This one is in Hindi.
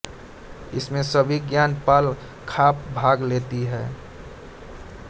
इसमें सभी ज्ञात पाल खाप भाग लेती हैं